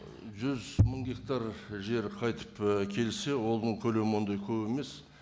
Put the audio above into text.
жүз мың гектар жер қайтып і келсе оның көлемі ондай көп емес